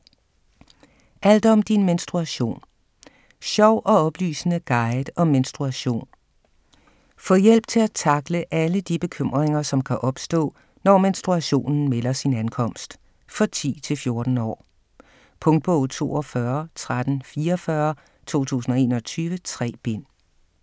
Alt om din menstruation Sjov og oplysende guide om menstruation. Få hjælp til at tackle alle de bekymringer som kan opstå, når menstruationen melder sin ankomst. For 10-14 år. Punktbog 421344 2021. 3 bind.